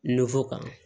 kan